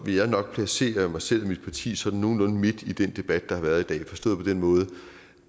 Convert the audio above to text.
vil jeg nok placere mig selv og mit parti sådan nogenlunde midt i den debat der har været i dag forstået på den måde